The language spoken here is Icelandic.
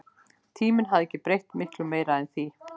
Tíminn hafði ekki breytt miklu meiru en því.